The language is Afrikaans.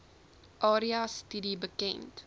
area studie bekend